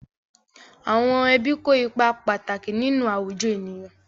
Àwọn ẹbí kó ipa pàtàkì nínú àwùjọ ènìyàn.